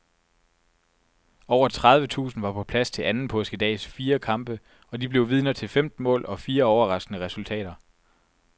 Over tredive tusinde var på plads til anden påskedags fire kampe, og de blev vidner til femten mål og fire overraskende resultater.